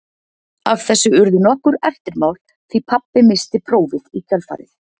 Af þessu urðu nokkur eftirmál því pabbi missti prófið í kjölfarið.